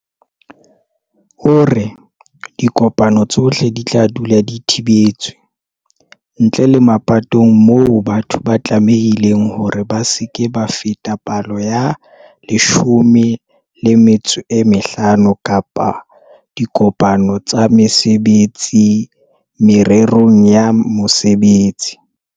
O re, dikopano tsohle di tla dula di thibetswe, ntle le mapatong moo batho ba tlamehileng hore ba se ke ba feta palo ya 50 kapa dikopano tsa mesebetsi mererong ya mosebetsi.